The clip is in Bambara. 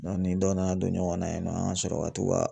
ni dɔ nana don ɲɔgɔnna yen nɔ an ka sɔrɔ ka t'u ka